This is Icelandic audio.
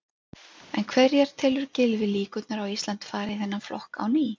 En hverjar telur Gylfi líkurnar á að Ísland fari í þennan flokk á ný?